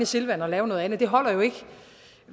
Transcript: silvan og lave noget andet men det holder jo ikke